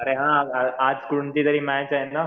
अरे हां आज कोणती तरी मॅच आहे ना.